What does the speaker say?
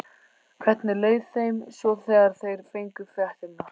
Hvernig leið þeim svo þegar þeir fengu fréttirnar?